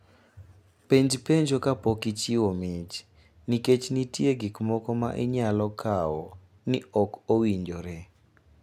Penj penjo kapok ichiwo mich, nikech nitie gik moko ma inyalo kawo ni ok owinjore.